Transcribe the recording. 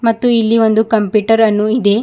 ಮತ್ತು ಇಲ್ಲಿ ಒಂದು ಕಂಪ್ಯೂಟರ್ ಅನ್ನು ಇದೆ.